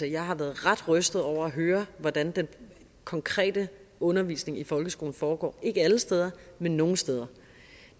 jeg har været ret rystet over at høre hvordan den konkrete undervisning i folkeskolen foregår ikke alle steder men nogle steder